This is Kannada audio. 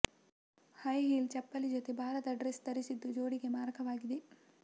ಹೈ ಹೀಲ್ಡ್ ಚಪ್ಪಲಿ ಜತೆ ಭಾರದ ಡ್ರೆಸ್ ಧರಿಸಿದ್ದು ಜೋಡಿಗೆ ಮಾರಕವಾಗಿದೆ